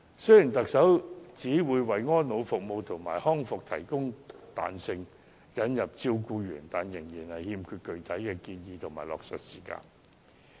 雖然特首表示會為安老服務和康復服務提供彈性，並引入照顧員，但具體建議和落實時間均欠奉。